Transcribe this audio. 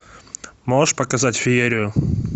можешь показать феерию